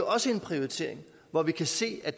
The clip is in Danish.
også en prioritering hvor vi kan se at